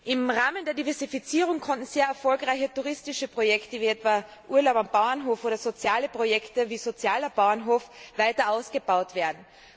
Im Rahmen der Diversifizierungen konnten sehr erfolgreiche touristische Projekte wie etwa Urlaub auf dem Bauernhof oder soziale Projekte wie sozialer Bauernhof weiter ausgebaut werden.